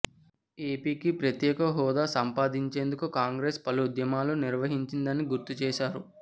ఏపికి ప్రత్యేక హోదా సంపాదించేందుకు కాంగ్రెస్ పలు ఉద్యమాలు నిర్వహించిందని గుర్తుచేశారు